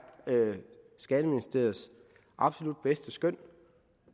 skatteministeriets absolut bedste skøn